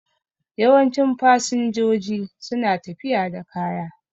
Yawancin fasinjoji su na tafiya da kaya